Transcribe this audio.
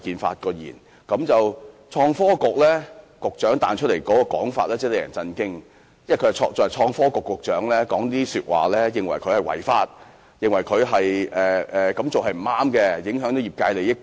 不過，創新及科技局局長的回應卻令人震驚，他身為創新及科技局局長竟認為 Uber 違法，認為他們這樣做是不對的，會影響業界利益。